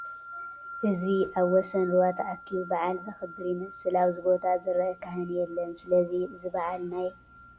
ህዝቢ ኣብ ወሰን ሩባ ተኣኪቡ በዓል ዘኽብር ይመስል፡፡ ኣብዚ ቦታ ዝርአ ካህን የለን፡፡ ስለዚ እዚ በዓል ናይ ኢሬቻ በዓል ዶ ይኸውን?